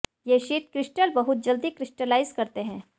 ये sheet crystal बहुत जल्दी क्रिस्टलाइज करते हैं